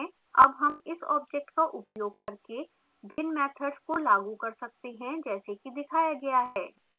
अब हम इस object का उपयोग करके भिन्न मैथड्स को लागू कर सकते हैं जैसे कि दिखाया गया है